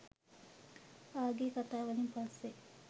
ආගිය කතා වලින් පස්සෙ